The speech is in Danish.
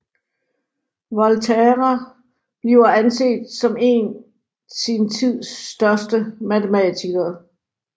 Volterra bliver anset som en sin tids største matematikere